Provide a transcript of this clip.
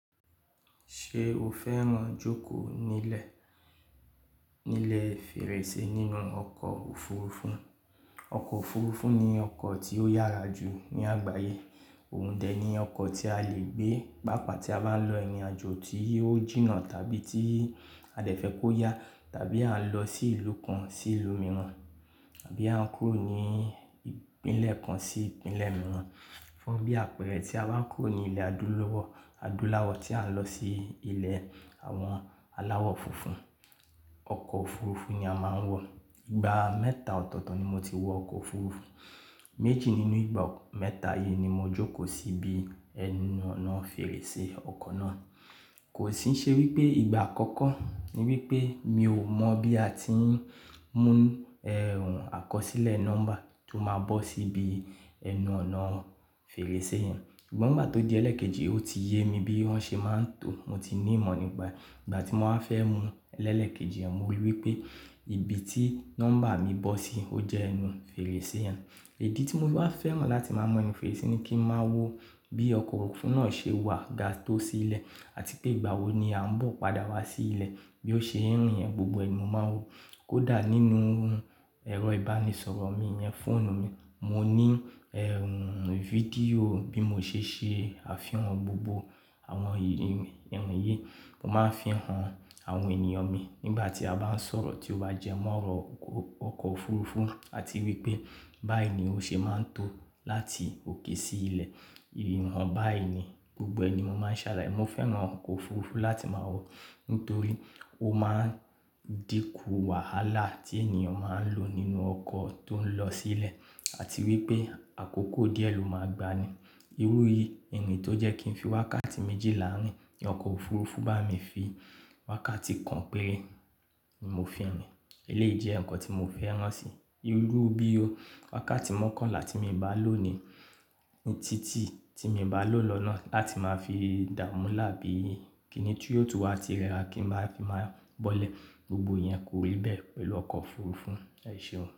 Ṣé o fẹ́ràn jókòó nílẹ̀, nílẹ̀ fèrèsé nínú ọkọ̀ òfurufú? Ọkọ̀ òfurufú ni ọkọ̀ tí ó yára jù ní àgbáyé. Òun dẹ̀ ni ọkọ̀ tí a lè gbé, pàápàá tí a bá ń lọ ìrìnàjò tí ó jìnnà tàbí tí a dẹ̀ fẹ́ kó yá, tàbí à ń lọ sí ìlú kan sí ìlú mìíràn, tàbí à ń kúrò ní ìpínlẹ̀ kan sí ìpínlẹ̀ mìíràn. Fún bí àpẹẹrẹ tí a bá ń kúrò ní ilẹ̀ adúláwọ̀, adúláwọ̀ tí à ń lọ sí ilẹ̀ àwọn aláwọ̀ funfun. Ọkọ̀ òfurufú ni a máa ń wọ̀. Igba mẹ́ta ọ̀tọ̀ọ̀tọ̀ ni mo ti wọ ọkọ̀ òfurufú. Méjì nínú ìgbà mẹ́ta yìí ni mo jókòó sí ibi ẹnu ọ̀nà fèrèsé ọkọ̀ náà. Kò sì ṣe wípé ìgbà àkọ́kọ́ ni wípé mi ò mọ̀ bí a ti ń mú ẹ̀rùn àkọsílẹ̀ nọ́mbà tó máa bọ́ sí ibi ẹnu ọ̀nà fèrèsé yẹn. Ṣùgbọ́n ìgbà tó di ẹlẹ́ẹ̀kejì ó ti yé mi bí wọ́n ṣe máa ń tò, mo ti ní ìmọ̀ nígbà. Ìgbà tí mo máa fẹ́ mú lẹlẹ́ẹ̀kejì yẹn mo rí wípé ibi tí nọ́mbà mi bọ́ sí ó jẹ ẹnu fèrèsé yẹn. Èdì tí mo bá fẹ́ mọ̀ láti máa mọ ẹnu fèrèsé ni kí ń máa wo bí ọkọ̀ òfurufú náà ṣe wà ga tó sí ilẹ̀ àti pé ìgbà wo ni a ń bọ̀ padà wá sí ilẹ̀ bí ó ṣe ń rìn yẹn gbogbo ẹni mo máa ń wo. Kódà nínú ẹ̀rọ ìbánisọ̀rọ̀ mi yẹn, fóònù mi, mo ní ẹ̀rùn fídíò bí mo ṣe ṣe àfihàn gbogbo àwọn ìrìn yìí. Mo máa ń fi hàn àwọn ènìyàn mi nígbà tí a bá ń sọ̀rọ̀ tí ó bá jẹ mọ́rọ̀ ọkọ̀ òfurufú àti wípé báyìí ni ó ṣe máa ń tó láti òkè sí ilẹ̀. Ìrìnnà báyìí ni gbogbo ẹni mo máa ń ṣàlàyé. Mo fẹ́ràn ọkọ̀ òfurufú láti máa wọ̀ nítorí ó máa ń dínkù wàhálà tí ènìyàn máa ń lò nínú ọkọ̀ tó ń lọ sí ilẹ̀ àti wípé àkókò díẹ̀ ló máa gba ní. Irú ìrìn tó jẹ́ kí n fi wákàtí méjìlá rìn, ọkọ̀ òfurufú bá mi fi wákàtí kan péré ni mo fi rìn. Eléyìí jẹ́ ǹkan tí mo fẹ́ràn si. Irú bí o wákàtí mọ́kànlá tí mi ń bá lòní títí tí mi o bá lò lọ́nà láti máa fi dààmú láàbí kìíní tí yóò tún wá ti rẹra kí n máa fi máa bọ́lẹ̀ gbogbo yẹn kò rí bẹ́ẹ̀ pẹ̀lú ọkọ̀ òfurufú. Ẹ ṣé o?